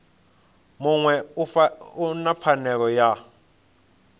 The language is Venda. muṅwe u na pfanelo ya